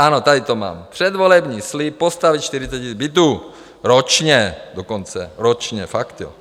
Ano, tady to mám, předvolební slib - postavit 40 000 bytů, ročně dokonce, ročně, fakt jo.